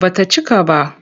Ba ta cika ba.